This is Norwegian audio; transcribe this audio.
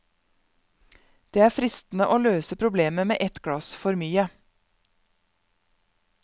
Det er fristende å løse problemet med et glass for mye.